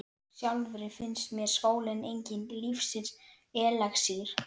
Sjálfri finnst mér skóli enginn lífsins elexír.